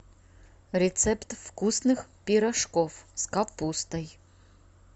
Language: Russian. рецепт вкусных пирожков с капустой